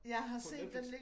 På Netflix